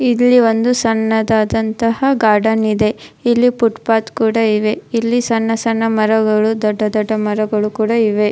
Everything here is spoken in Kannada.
ಇಲ್ಲಿ ಒಂದು ಸಣ್ಣದಾದಂತಹ ಗಾರ್ಡನ್ ಇದೆ ಇಲ್ಲಿ ಫುಟ್ಪಾತ್ ಕೂಡ ಇವೆ ಇಲ್ಲಿ ಸಣ್ಣ ಸಣ್ಣ ಮರಗಳು ದೊಡ್ಡ ದೊಡ್ಡ ಮರಗಳು ಕೂಡ ಇವೆ.